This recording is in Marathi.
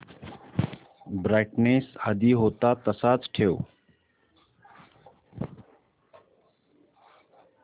ब्राईटनेस आधी होता तसाच ठेव